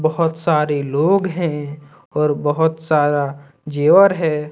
बहोत सारे लोग हैं और बहोत सारा जेवर है।